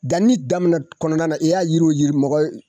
Danni daminɛ kɔnɔna na i y'a yiriw , yiri nɔgɔ.